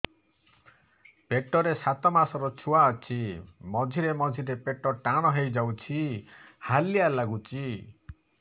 ପେଟ ରେ ସାତମାସର ଛୁଆ ଅଛି ମଝିରେ ମଝିରେ ପେଟ ଟାଣ ହେଇଯାଉଚି ହାଲିଆ ଲାଗୁଚି